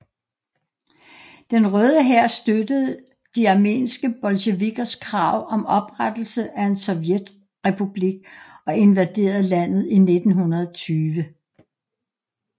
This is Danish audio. Den Røde Hær støttede de armenske bolsjevikkers krav om oprettelse af en sovjetrepublik og invaderede landet i 1920